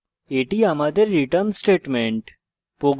এটি আমাদের return statement